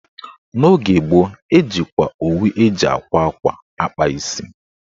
N'oge gboo, ejikwa owu eji àkwá ákwá akpa isi